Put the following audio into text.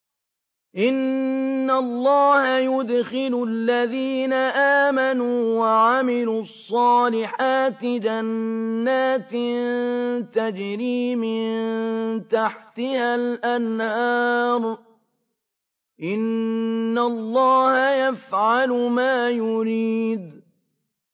إِنَّ اللَّهَ يُدْخِلُ الَّذِينَ آمَنُوا وَعَمِلُوا الصَّالِحَاتِ جَنَّاتٍ تَجْرِي مِن تَحْتِهَا الْأَنْهَارُ ۚ إِنَّ اللَّهَ يَفْعَلُ مَا يُرِيدُ